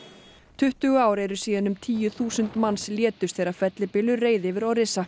tuttugu ár eru síðan um tíu þúsund manns létust þegar fellibylur reið yfir